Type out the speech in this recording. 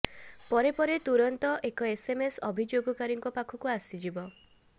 ପରେ ପରେ ତୁରନ୍ତ ଏକ ଏସ୍ଏମ୍ଏସ୍ ଅଭିଯୋଗକାରୀଙ୍କୁ ପାଖକୁ ଯିବ